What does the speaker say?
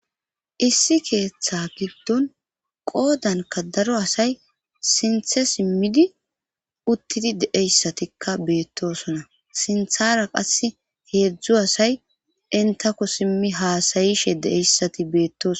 Issi keeththa giddon qoodanka daro asay sinthe simmidi uttidi deeyssatikka beettosona sinthara qass heedzdzu asay intako simmi haasayishe deeyssati beettos.